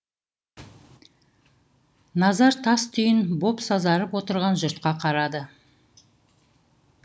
назар тас түйін боп сазарып отырған жұртқа қарады